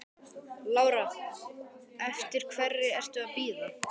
Lára: Eftir hverri ertu að bíða?